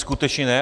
Skutečně ne.